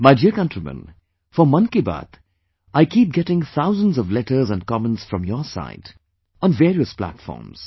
My dear countrymen, for 'Mann Ki Baat', I keep getting thousands of letters and comments from your side, on various platforms